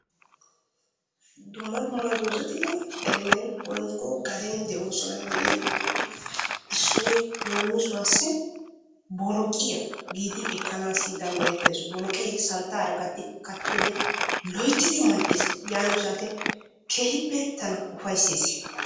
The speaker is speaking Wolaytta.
dumma dumma dozzati eremen woykko gaden de'oosona. De'iyageetuppe issoy leemissuwassi boloqqiya giidi ekkanaassi dandayettees. boloqee santaara gattidi kattiyode loyttidi mal"ees yaatiyo saatiyan keehippe tana ufayssees.